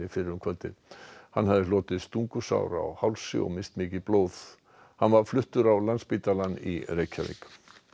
fyrr um kvöldið hann hafði hlotið stungusár á hálsi og misst mikið blóð hann var fluttur á Landspítalann í Reykjavík